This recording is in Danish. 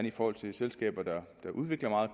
i forhold til selskaber der udvikler meget